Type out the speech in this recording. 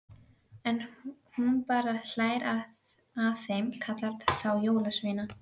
En hún bara hlær að þeim, kallar þá jólasveina.